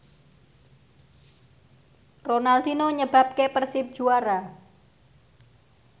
Ronaldinho nyebabke Persib juara